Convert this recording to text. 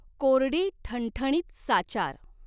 कोरडी ठणठणीत साचार।